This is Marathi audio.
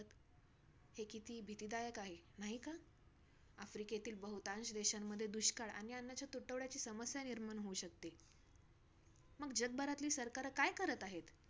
हे कित्ती भीतीदायक आहे, नाही का? आफ्रिकेतील बहुतांश देशामध्ये दुष्काळ आणि अन्नाचा तुटवड्याची समस्या निर्माण होऊ शकते. मग, जगभरातील सरकारं काय करत आहे?